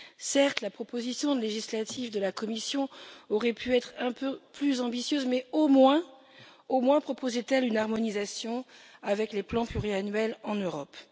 Certes, la proposition législative de la Commission aurait pu être un peu plus ambitieuse, mais au moins proposait elle une harmonisation avec les plans pluriannuels en Europe.